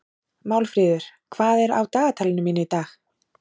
Málfríður, hvað er á dagatalinu mínu í dag?